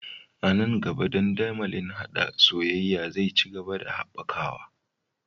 A nan gaba, dandamalin haɗa soyayya zai ci gaba da haɓakawa